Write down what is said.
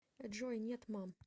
джой нет мам